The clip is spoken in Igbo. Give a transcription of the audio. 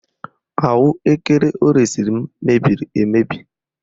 Ahụekere o resiri m mebiri emebi